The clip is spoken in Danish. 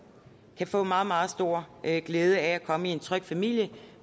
kan få meget meget stor glæde af at komme i en tryg familie